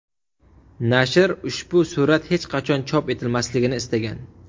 Nashr ushbu surat hech qachon chop etilmasligini istagan.